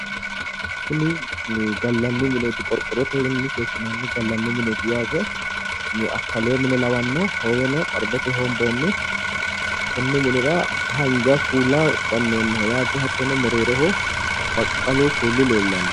Kuni gallanni mineeti yaate qorqorrotenni seekkinoonniho gallanni mineeti yaate akalewo mine lawanno hooweno xarbetenni hoobbonni konni minira haanja kuula gannoonniho yaate hattono mereeroho baqqalu kuuli leellanno.